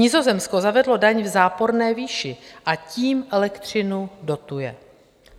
Nizozemsko zavedlo daň v záporné výši a tím elektřinu dotuje.